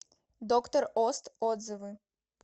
доктор ост отзывы